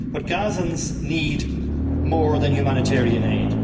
Gazans need more than humanitarian aid.